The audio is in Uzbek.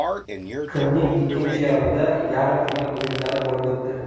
Kunning ikkinchi yarmida yarim final o‘yinlari bo‘lib o‘tdi.